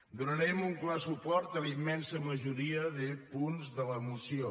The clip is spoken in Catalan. donarem un clar suport a la immensa majoria de punts de la moció